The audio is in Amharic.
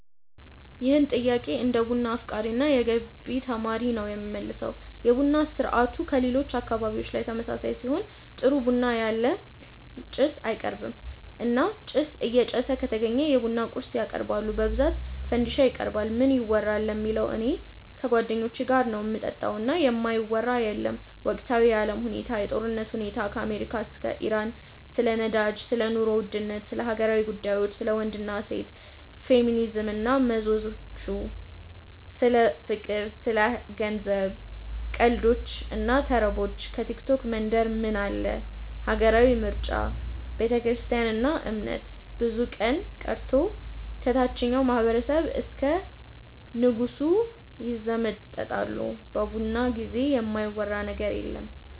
ይህን ጥያቄ እንደ ቡና አፍቃሪ እና የገቢ ተማሪ ነው የምመልሰው። የቡና ስርአቱ ከሌሎች አካባቢዎች ጋር ተመሳሳይ ሲሆን ጥሩ ቡና ያለ ጭስ አይቀርብም እና ጭስ እየጨሰ ከተገኘ የቡና ቁርስ ያቀርባሉ በብዛት ፈንዲሻ ይቀርባል። ምን ይወራል ለሚለው እኔ ከጓደኞቼ ጋር ነው ምጠጣው እና የማይወራ የለም ወቅታዊ የአለም ሁኔታ፣ የጦርነቱ ሁኔታ ከአሜሪካ እስከ ኢራን፣ ስለ ነዳጅ፣ ስለ ኑሮ ውድነት፣ ስለ ሀገራዊ ጉዳዮች፣ ስለ ወንድ እና ሴት፣ ፌሚኒዝም እና መዘዞቹ፣ ስለ ፍቅር፣ ስለ ገንዘብ፣ ቀልዶች እና ተረቦች፣ ከቲክቶክ መንደር ምን አለ፣ ሀገራዊ ምርጫ፣ ቤተክርስትያን እና እምነት፣ ብቻ ምን ቀርቶ ከታቸኛው ማህበረሰብ እስከ ንጉሱ ይዘመጠጣሉ በቡና ጊዜ የማይወራ ነገር የለም።